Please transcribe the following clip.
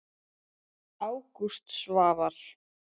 Ágúst Svavar.